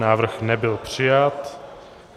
Návrh nebyl přijat.